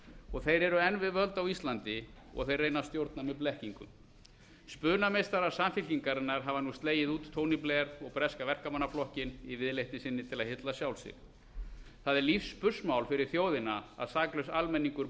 og þeir eru enn við völd á íslandi og þeir reyna að stjórna með blekkingum spunameistarar samfylkingarinnar hafa nú slegið út tony blair og breska verkamannaflokkinn í viðleitni sinni til að hylla sjálf sig það er lífsspursmál fyrir þjóðina að saklaus almenningur